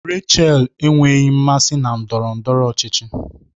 Rachel enweghị mmasị na ndọrọ ndọrọ ọchịchị